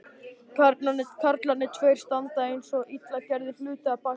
Karlarnir tveir standa einsog illa gerðir hlutir að baki hennar.